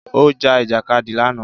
Ó ja Ìjàkadì lánàá